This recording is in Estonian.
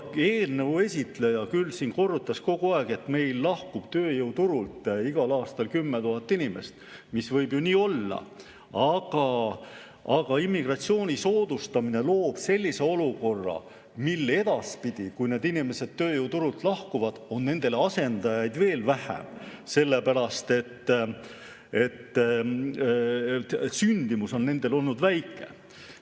Eelnõu esitleja küll siin korrutas kogu aeg, et meil lahkub tööjõuturult igal aastal 10 000 inimest, mis võib ju nii olla, aga immigratsiooni soodustamine loob sellise olukorra, mil edaspidi, kui need inimesed tööjõuturult lahkuvad, on nendele asendajaid veel vähem, sellepärast et sündimus on nendel olnud väike.